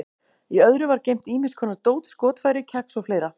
Í öðru var geymt ýmis konar dót, skotfæri, kex og fleira.